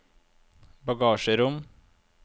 bagasjerom